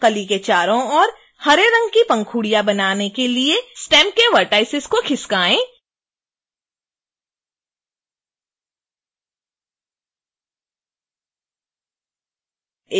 कली के चारों ओर हरे रंग की पंखुड़ियाँ बनाने के लिए स्टेम के vertices को खिसकाएँ